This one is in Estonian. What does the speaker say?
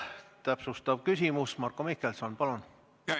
Täpsustav küsimus, Marko Mihkelson, palun!